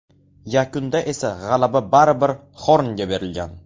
Yakunda esa g‘alaba baribir Xornga berilgan.